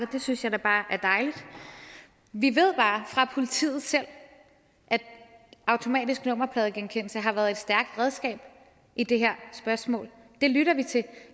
det synes jeg da bare er dejligt vi ved bare fra politiet selv at automatisk nummerpladegenkendelse har været et stærkt redskab i det her spørgsmål og det lytter vi til